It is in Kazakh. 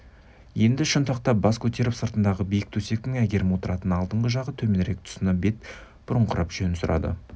енді шынтақтап бас көтеріп сыртындағы биік төсектің әйгерім отыратын алдыңғы жағы төменірек тұсына бет бұрыңқырап жөн сұрады